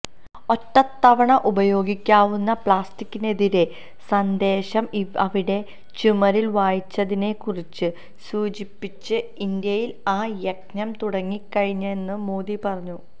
ഒറ്റത്തവണ ഉപയോഗിക്കാവുന്ന പ്ലാസ്റ്റിക്കിനെതിരെ സന്ദേശം അവിടെ ചുമരിൽ വായിച്ചതിനെക്കുറിച്ചു സൂചിപ്പിച്ച് ഇന്ത്യയിൽ ആ യജ്ഞം തുടങ്ങിക്കഴിഞ്ഞെന്നു മോദി പറഞ്ഞു